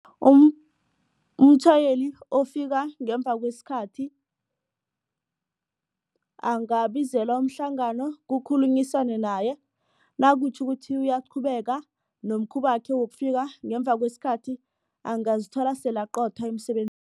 Umtjhayeli ofika ngemva kwesikhathi angabizelwa umhlangano kukhulunyiswane naye nakutjho ukuthi uyaqhubeka nomkhubakhe wokufika ngemva kwesikhathi angazithola sele aqothwa